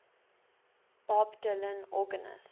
bob dylan organist